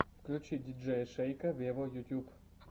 включи диджея шейка вево ютюб